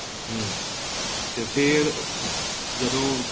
ਹਮ ਤੇ ਫ਼ੇਰ ਜਦੋਂ